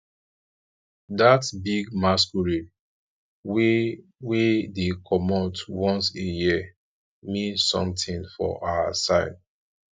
dat big masquerade wey wey dey comot once a year mean something for our side